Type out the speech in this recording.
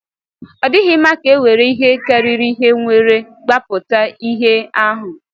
Ọ dịghị mma ka e were ihe karịrị ihe were gbapụta ihe ahụ.